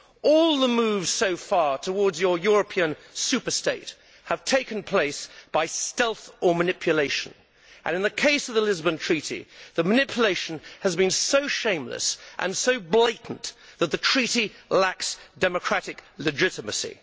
All the moves so far towards your European superstate have taken place by stealth or manipulation and, in the case of the Lisbon Treaty, the manipulation has been so shameless and so blatant that the Treaty lacks democratic legitimacy.